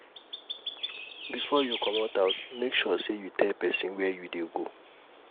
before you commot house make sure say you tell pesin where u dey go